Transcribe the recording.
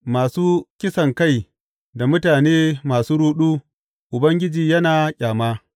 Masu kisankai da mutane masu ruɗu Ubangiji yana ƙyama.